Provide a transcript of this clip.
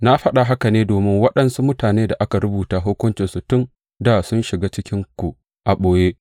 Na faɗa haka ne domin waɗansu mutanen da aka rubuta hukuncinsu tun dā sun shiga cikinku a ɓoye.